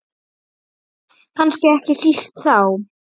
Kannski ekki síst þá.